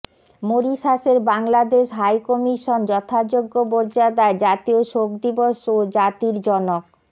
মরিশাসের Bangladesh high commission যথাযোগ্য মর্যাদায় জাতীয় শোক দিবস ও জাতির জনক